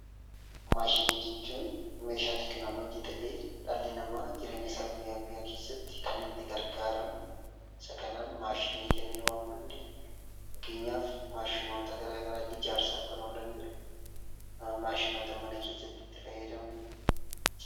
Maashinii jechuun meeshaa teekinooloojii ta'ee kan dhalli namaa jireenya isaa guyyaa guyyaa keessatti kan itti gargaaramu, isa kanaan 'Maashinii' jennee waamuu dandeenya. Fakkeenyaaf maashinoota gara garaa, ijaarsaaf kan oolan jiru, maashinoota mana keessatti itti fayyadamnu.